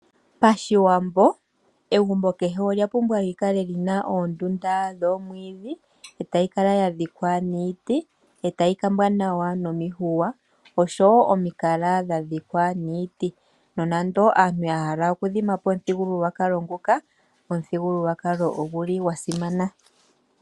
Moshiwambo, egumbo kehe olyapumbwa okukala lina oondunda dhomwiidhi, e tayi kala yadhikwa niiti, noku kumbwa nawa nomihuya, oshowo omikala dha dhikwa niiti. Nonando aantu yahala oku hulithapo omuthigululwakalo nguka, omuthigululwakalo oguli gwa simana.